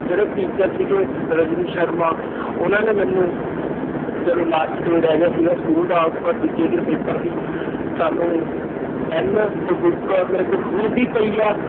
ਜਿਹੜੇ teacher ਸੀਗੇ ਰਜਨੀ ਸ਼ਰਮਾ ਉਹਨਾਂ ਨੇ ਮੈਨੂੰ ਜਦੋਂ last day ਰਹਿ ਗਿਆ ਸੀਗਾ school ਦਾ ਉਹ ਤੋਂ ਬਾਅਦ ਦੂਜੇ ਦਿਨ paper ਸੀ ਸਾਨੂੰ ਪੈਨ ਤੇ book ਮੇਰੇ ਕੋਲ ਹੁਣ ਵੀ ਪਈ ਆ